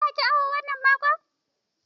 Za ki awo wannan makon?